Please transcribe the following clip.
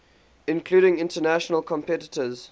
including international competitors